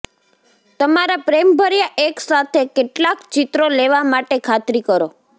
તમારા પ્રેમભર્યા એક સાથે કેટલાક ચિત્રો લેવા માટે ખાતરી કરો